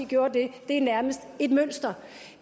gjort det det er nærmest et mønster